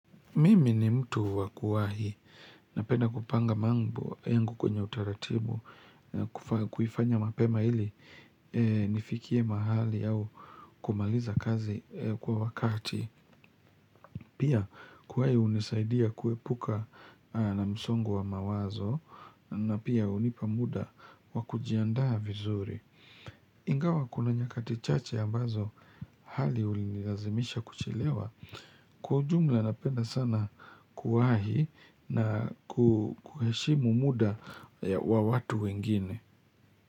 Mimi ni mtu wa kuwahi napenda kupanga mambo yangu kwenye utaratibu kuifanya mapema ili nifikie mahali au kumaliza kazi kwa wakati. Pia kuwahi unisaidia kuepuka na msongo wa mawazo na pia unipamuda wa kujiandaa vizuri. Ingawa kuna nyakati chache ambazo hali unilazimisha kuchelewa kwa ujumla napenda sana kuwahi na kuheshimu muda wa watu wengine.